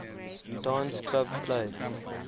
dance club play